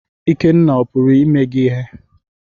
Ikenna puru ime gi ihe?